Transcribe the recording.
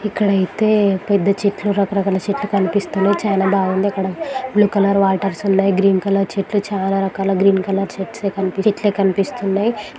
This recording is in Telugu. ఇక్కడ అయితే పెద్ద చెట్లు రకరకాల చెట్లు కనిపిస్తున్నాయి. చాలా బాగుంది అక్కడ. బ్లూ కలర్ వాటర్స్ ఉన్నాయి. అక్కడ గ్రీన్ కలర్ చెట్లు చాలా రకాల గ్రీన్ కలర్ చెట్సే కనిపి చెట్లే కనిపిస్తున్నాయి.